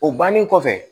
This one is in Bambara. O bannen kɔfɛ